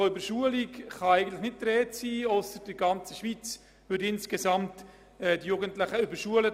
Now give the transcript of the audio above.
Von einer Überschulung kann somit nicht die Rede sein, es sei denn, in der ganzen Schweiz würden die Jugendlichen überschult.